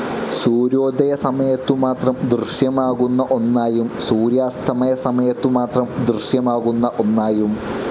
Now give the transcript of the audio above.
സൂര്യോദയ സമയത്തു മാത്രം ദൃശ്യമാകുന്ന ഒന്നായും സൂര്യാസ്തമയ സമയത്തു മാത്രം ദൃശ്യമാകുന്ന ഒന്നായും.